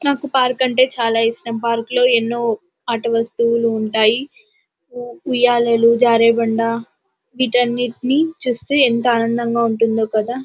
నాకు పార్క్ అంటే చాల ఇష్టం పార్కు లో ఎన్నో ఆటవస్తవులు ఉంటాయి. ఉయ్యాలలు జారబండ వీటన్నిటి చుస్తే ఎంతో ఆనందంగా ఉంటుందో కదా.